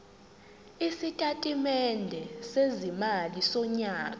isitatimende sezimali sonyaka